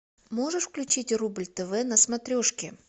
можешь включить рубль тв на смотрешке